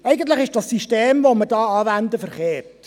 Eigentlich ist das hier angewendete System verkehrt.